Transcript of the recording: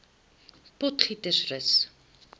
potgietersrus